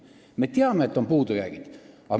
Me teame, et on puudujäägid.